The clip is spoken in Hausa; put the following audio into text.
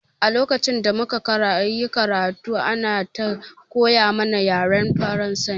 A lokacin da muka yi karatu ana ta koya mana yaren Faransa